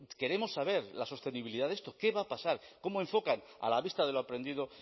queremos saber la sostenibilidad de esto qué va a pasar cómo enfocan a la vista de lo aprendido